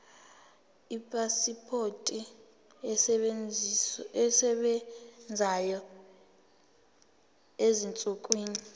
ipasipoti esebenzayo ezinsukwini